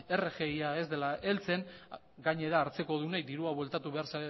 rgia ez dela heltzen gainera hartzekodunei dirua bueltatu behar